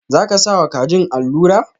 Za ka sa wa kajin alura?.